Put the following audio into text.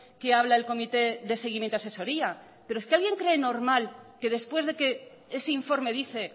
que habla el comité de seguimiento asesoría pero es que alguien cree normal que después de que ese informe dice